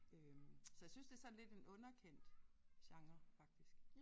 Øh så jeg synes det lidt sådan en underkendt genre faktisk